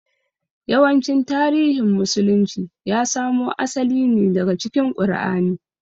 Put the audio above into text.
Yawancin tarihin musulunci ya samo asali ne daga cikin ƙur'ani